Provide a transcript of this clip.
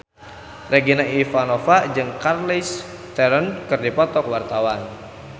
Regina Ivanova jeung Charlize Theron keur dipoto ku wartawan